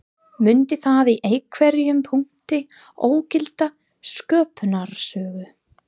Mundi það í einhverjum punkti ógilda sköpunarsögu